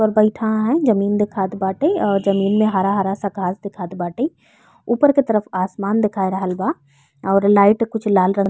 पर बइठा हयन। जमीं दिखत बाटे और जमीन में हरा हरा सा घास दिखात बाटे। ऊपर के तरफ आसमान दिखाई दे रहल बा और लाइट कुछ लाल रंग --